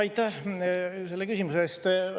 Aitäh selle küsimuse eest!